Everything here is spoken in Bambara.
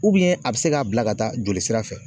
a be se ka bila ka taa joli sira fɛ.